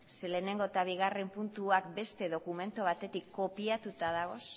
ze lehenengo eta bigarren puntuak beste dokumentu batetik kopiatuta dagoz